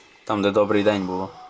Orada 'Salam' yazılmışdı.